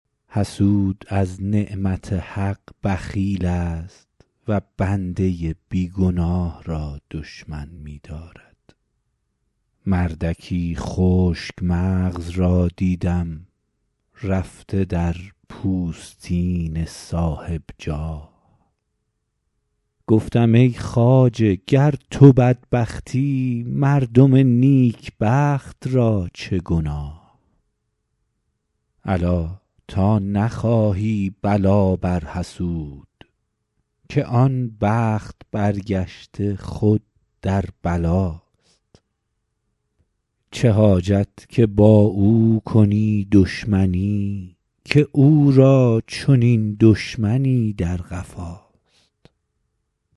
حسود از نعمت حق بخیل است و بنده بی گناه را دشمن می دارد مردکی خشک مغز را دیدم رفته در پوستین صاحب جاه گفتم ای خواجه گر تو بدبختی مردم نیکبخت را چه گناه الا تا نخواهی بلا بر حسود که آن بخت برگشته خود در بلاست چه حاجت که با او کنی دشمنی که او را چنین دشمنی در قفاست